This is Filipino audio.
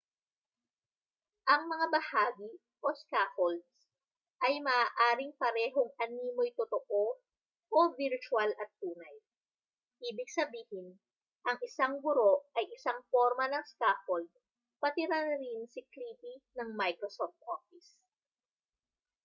ang mga bahagi scaffolds ay maaring parehong animo'y totoo virtual at tunay. ibig sabihin ang isang guro ay isang porma ng scaffold pati na rin si clippy ng microsoft office